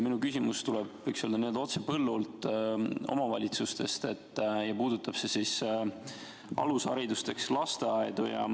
Minu küsimus tuleb, võiks öelda, otse põllult, omavalitsustest, ja puudutab alusharidust, lasteaedu.